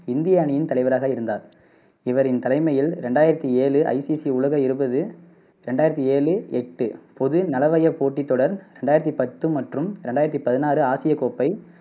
இந்திய அணியின் தலைவராக இருந்தார். இவரின் தலைமையில் ரெண்டாயிரத்தி ஏழு ICC உலக இருபது ரெண்டாயிரத்தி ஏழு எட்டு பொதுநலவய போட்டித் தொடர், ரெண்டாயிரத்தி பத்து மற்றும் ரெண்டாயிரத்தி பதினாறு ஆசியக் கோப்பை,